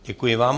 Děkuji vám.